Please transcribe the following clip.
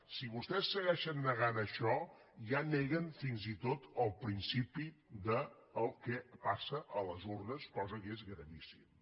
si vostès segueixen negant això ja neguen fins i tot el principi del que passa a les urnes cosa que és gravíssima